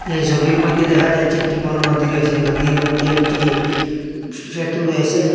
এই ছবির মইধ্যে দেখা যাচ্ছে একটি বড় নদী রয়েছে নদীর মইধ্যে একটি সেতু রয়েছে।